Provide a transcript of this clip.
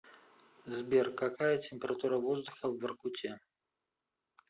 сбер какая температура воздуха в воркуте